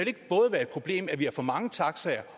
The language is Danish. ikke både være et problem at vi har for mange taxaer